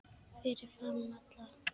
Fyrir framan alla?